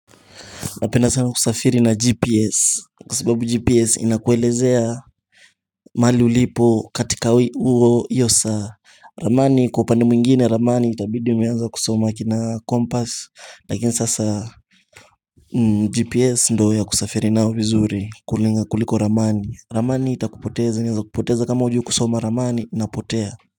Napenda sana kusafiri na gps kwa sababu gps inakuelezea mali ulipo katika uo hiyo saa Ramani kwa upande mwengine Ramani itabidi umeanza kusoma kina compass lakini sasa GPS ndo ya kusafiri nayo vizuri kuliko Ramani. Ramani itakupoteza inaeza kupoteza kama ujui kusoma Ramani unapotea.